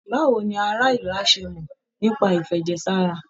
Báwo ni ará ìlú á ṣe mọ̀ nípa ìfẹ̀jẹ̀ sára?